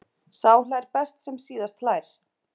Sá hlær best sem síðast hlær!